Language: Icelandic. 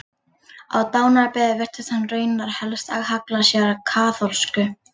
Á dánarbeði virtist hann raunar helst halla sér að kaþólsku.